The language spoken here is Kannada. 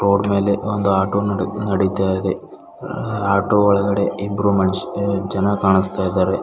ರೋಡ್ ಮೇಲೆ ಒಂದು ಆಟೋ ನಡಿ ನಡಿತಾ ಇದೆ ಆಟೋ ಒಳಗಡೆ ಇಬ್ರು ಮನುಶ್ ಜನ ಕಾಣಿಸ್ತಾ ಇದ್ದಾರೆ.